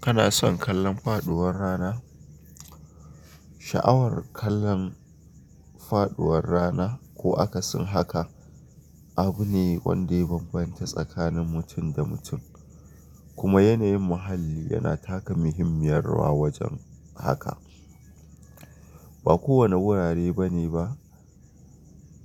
Kana son kallon faduwar rana? Sha'awar kallon faduwar rana ko akasin haka abu ne wanda ya bambanta tsakanin mutum da mutum, kuma yanayin muhalli yana taka muhimmiyar rawa wajen haka. Ba kowane wurare bane ba,